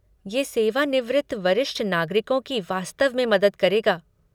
ये सेवानिवृत्त वरिष्ठ नागरिकों की वास्तव में मदद करेगा।